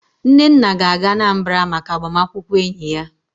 Nnenna ga-aga Anambra maka agbamakwụkwọ enyi ya